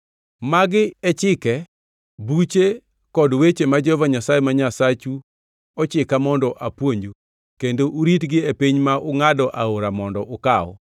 Magi e chike, buche kod weche ma Jehova Nyasaye ma Nyasachu ochika mondo apuonju kendo uritgi e piny ma ungʼado aora Jordan mondo ukaw.